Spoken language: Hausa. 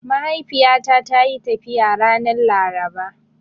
Mahaifiyata tayi tafiya ranar Laraba.